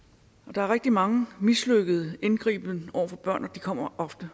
der er rigtig mange mislykkede indgribener over for børn og de kommer ofte